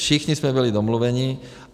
Všichni jsme byli domluveni.